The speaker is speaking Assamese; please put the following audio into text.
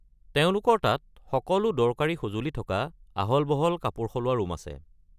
তেওঁলোকৰ তাত সকলো দৰকাৰী সঁজুলি থকা আহল-বহল কাপোৰ সলোৱা ৰুম আছে।